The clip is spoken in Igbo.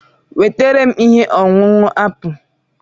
Wetara m ihe ọṅụṅụ apụl.